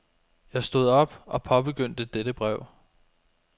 Jeg stod op og påbegyndte dette brev.